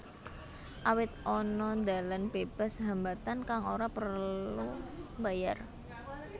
Awit ana dalan bebas hambatan kang ora prelu mbayar